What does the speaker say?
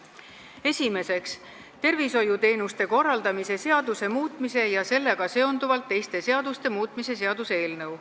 Esiteks, tervishoiuteenuste korraldamise seaduse muutmise ja sellega seonduvalt teiste seaduste muutmise seaduse eelnõu.